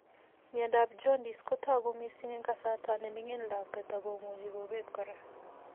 Miondop jaundice kotogu mising eng' kasarta neming'in lakwet ak komuchi kobet kora